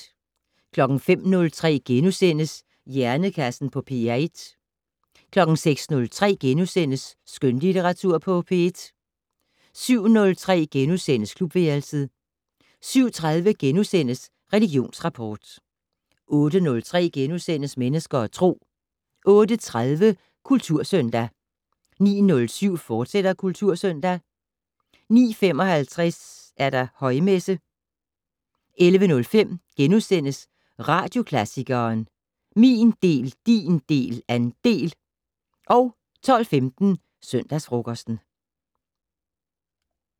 05:03: Hjernekassen på P1 * 06:03: Skønlitteratur på P1 * 07:03: Klubværelset * 07:30: Religionsrapport * 08:03: Mennesker og Tro * 08:30: Kultursøndag 09:07: Kultursøndag, fortsat 09:55: Højmesse - 11:05: Radioklassikeren: Min del, din del, andel * 12:15: Søndagsfrokosten